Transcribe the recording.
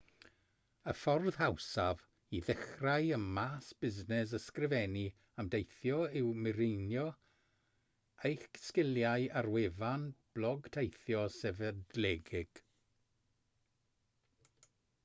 y ffordd hawsaf i ddechrau ym maes busnes ysgrifennu am deithio yw mireinio eich sgiliau ar wefan blog teithio sefydledig